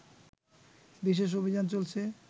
বিশেষ অভিযান চলছে